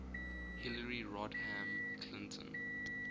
hillary rodham clinton